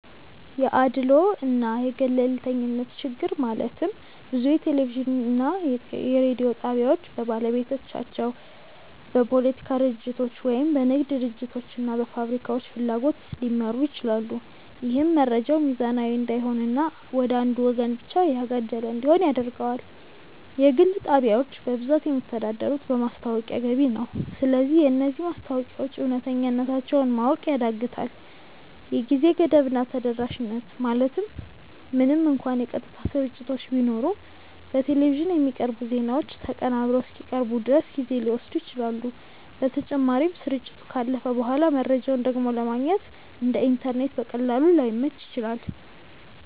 1 የአድልዎ እና የገለልተኝነት ችግር ማለትም ብዙ የቴሌቪዥን እና የሬዲዮ ጣቢያዎች በባለቤቶቻቸው፣ በፖለቲካ ድርጅቶች ወይም በንግድ ድርጅቶች እና ፋብሪካዎች ፍላጎት ሊመሩ ይችላሉ። ይህም መረጃው ሚዛናዊ እንዳይሆን እና ወደ አንዱ ወገን ብቻ ያጋደለ እንዲሆን ያደርገዋል። 2 የግል ጣቢያዎች በብዛት የሚተዳደሩት በማስታወቂያ ገቢ ነው። ስለዚህ የነዚህ ማስታወቂያዎች እውነተኛነታቸውን ማወቅ ያዳግታል 3የጊዜ ገደብ እና ተደራሽነት ማለትም ምንም እንኳን የቀጥታ ስርጭቶች ቢኖሩም፣ በቴሌቪዥን የሚቀርቡ ዜናዎች ተቀናብረው እስኪቀርቡ ድረስ ጊዜ ሊወስዱ ይችላሉ። በተጨማሪም፣ ስርጭቱ ካለፈ በኋላ መረጃውን ደግሞ ለማግኘት (እንደ ኢንተርኔት በቀላሉ) ላይመች ይችላል።